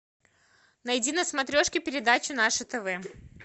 найди на смотрешке передачу наше тв